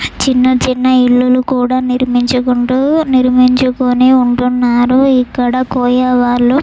చిన్న చిన్న ఇల్లులు కూడా నిర్మించుకుంటూ నిర్మించుకొని ఉంటున్నారు. ఇక్కడ ]